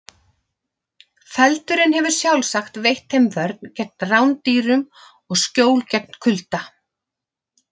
Feldurinn hefur sjálfsagt veitt þeim vörn gegn rándýrum og skjól gegn kulda.